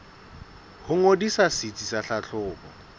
ho ngodisa setsi sa tlhahlobo